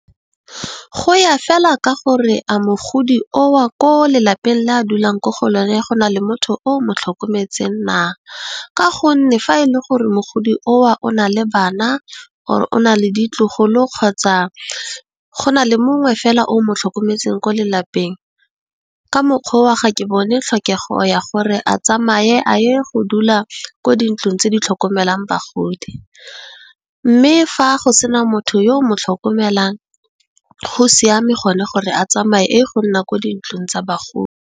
Go ya fela ka gore a mogodi oo ko lelapeng le a dulang ko go lona, go na le motho o motlhokometseng na, ka gonne, fa e le gore mogodi oo o na le bana, o na le ditlogolo kgotsa, go na le mongwe fela o mo tlhokometseng ko lelapeng, ka mokgwa oo ga ke bone tlhokego ya gore a tsamaye a ye go dula ko dintlong tse di tlhokomelang bagodi. Mme, fa go sena motho yo o mo tlhokomelang go siame gone gore a tsamaye a ye go nna kwa dintlong tsa bagodi.